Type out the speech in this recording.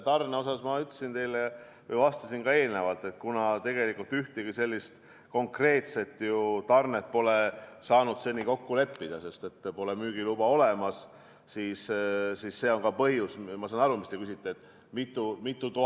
Tarne kohta ma vastasin teile juba eelnevalt, et kuna me pole ühtegi konkreetset tarnet saanud seni kokku leppida, sest pole müügiluba, siis see on ka põhjus, miks ei saa keegi praegu neid konkreetseid koguseid öelda.